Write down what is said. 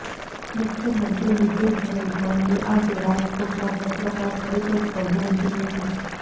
મુખ્યમંત્રી વિજયભાઈ રૂપાણીએ આજે રાજકોટમાં પત્રકાર પરીષદ સંબોધી હતી